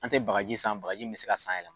An tɛ bagaji san bagaji min bɛ se ka san yɛlɛma.